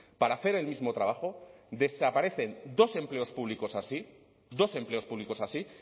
para hacer el mismo trabajo desaparecen dos empleos públicos así dos empleos públicos así